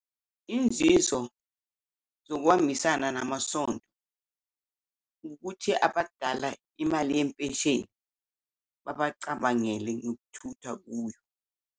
Inzizo zokuhambisana namasonto ukuthi abadala imali yempesheni babacabangele nokuthutha kuyo.